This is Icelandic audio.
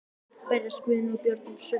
Berjast Guðni og Björn um sömu sneiðarnar?